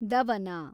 ದವನ